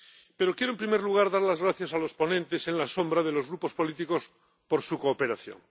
Pero quiero, en primer lugar, dar las gracias a los ponentes alternativos de los Grupos políticos por su cooperación.